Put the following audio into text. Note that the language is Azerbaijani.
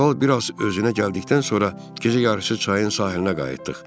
Kral biraz özünə gəldikdən sonra gecə yarısı çayın sahilinə qayıtdıq.